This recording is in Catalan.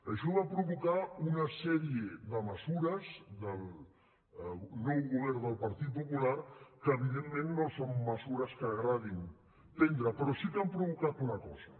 això va provocar una sèrie de mesures del nou govern del partit popular que evidentment no són mesures que agradi prendre però sí que han provocat una cosa